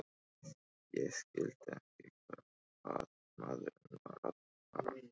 Ég skildi ekki hvað maðurinn var að fara.